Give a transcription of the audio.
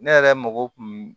Ne yɛrɛ mago kun